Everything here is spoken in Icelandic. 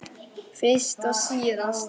Fyrst og síðast.